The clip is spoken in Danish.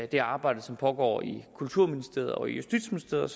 det arbejde som pågår i kulturministeriet og justitsministeriet